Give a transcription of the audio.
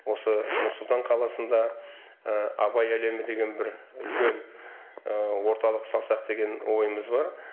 осы нұр сұлтан қаласында абай әлемі деген бір үлкен орталық салсақ деген ойымыз бар